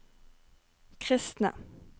kristne